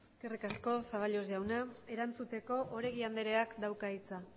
eskerrik asko zaballos jauna erantzuteko oregi andreak dauka hitza